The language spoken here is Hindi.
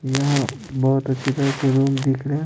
यहाँ बहुत अच्छी तरह से रूम दिख रहा है।